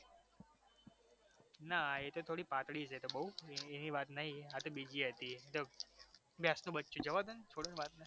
ના એ તો થોડી પાતળી છે એ તો બહુ એની વાત નહી આ તો બીજી હતી એ તો ભેંસનુ બચ્ચુ જવા દો ને છોડો ને વાત